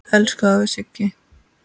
Elsku afi Siggi.